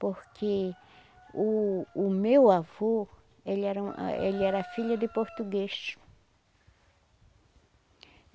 Porque o o meu avô, ele era um ele era filho de português.